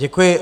Děkuji.